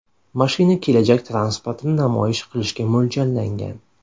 Mashina kelajak transportini namoyish qilishga mo‘ljallangan.